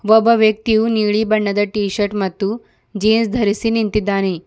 ಒಬ್ಬ ವ್ಯಕ್ತಿಯು ನೀಲಿ ಬಣ್ಣದ ಟೀ ಶರ್ಟ್ ಮತ್ತು ಜೀನ್ಸ್ ಧರಿಸಿ ನಿಂತಿದ್ದಾನೆ.